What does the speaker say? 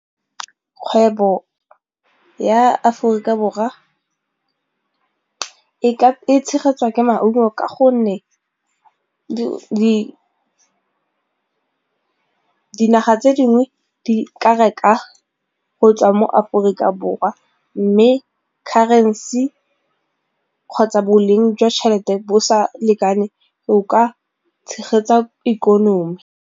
Kgwebo ya Aforika Borwa e tshegetsiwa ke maungo ka gonne di ke dinaga tse dingwe di ka reka go tswa mo Aforika Borwa mme currency kgotsa boleng jwa tšhelete bo sa lekane go ka tshegetsa ikonomi.